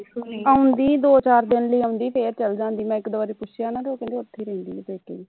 ਆਉਂਦੀ ਦੋ ਚਾਰ ਦਿਨ ਲਈ ਆਉਦੀ ਫਿਰ ਚਲ ਜਾਂਦੀ ਮੈਂ ਇਕ ਦੋ ਵਾਰ ਪੁੱਛਿਆ ਨਾ ਤਾਂ ਉਹ ਕਹਿੰਦੇ ਉਥੇ ਰਹਿੰਦੀ ਪੇਕੇ